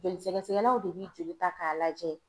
Joli sɛgɛsɛgɛlaw de bi joli ta k'a lajɛ